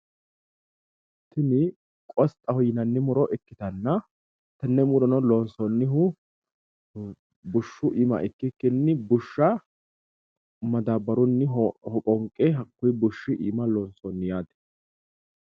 kuni kosxaho yineemmo muro ikkanna tenne murono loonsoonnihu bushshu iima ikikkinni bushsha madaabbaru hoqoonqe hakkuyi bushshi iima lonsoonni yaate.